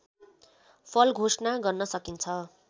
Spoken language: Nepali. फल घोषणा गर्न सकिन्छ